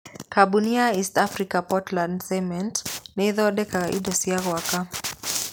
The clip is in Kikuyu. Kambuni ya East African Portland Cement nĩ ĩthondekaga indo cia gwaka.